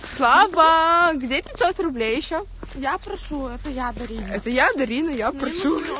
слава где пятьсот рублей ещё это я прошу это я дарина это я дарина я прошу